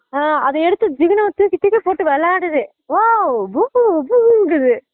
ஆஹ் அத எடுத்து ஜிகுணா தூக்கி தூக்கி போட்டு விளையாடுது ஓ boom boom குது